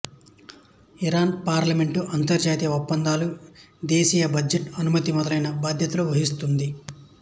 Iran parliament అంతర్జాతీయ ఒప్పందాలు దేశీయ బడ్జెట్ అనుమతి మొదలైన బాధ్యతలు వహిస్తుంది